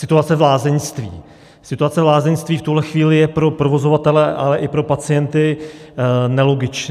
Situace v lázeňství: Situace v lázeňství v tuhle chvíli je pro provozovatele, ale i pro pacienty nelogická.